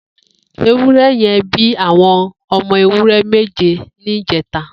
Éwùrẹ̀ yẹ̀n bi awọn ọmọ éwùrẹ̀ méjé nijẹ̀tá